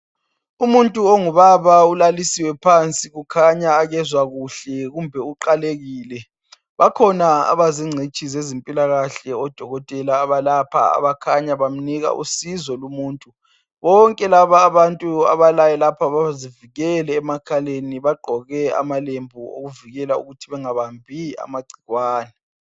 Umuntu ongubaba ulalisiwe phansi kukhanya akezwa kuhle kumbe uqalekile , bakhona abazingcitshi zezempilakahle odokotela abalapha abakhanya bamnika usizo lumuntu , bonke laba abantu abalaye lapha bazivikele emakhaleni bagqoke amalembu okuvikela ukuthi bangabambi amagcikwane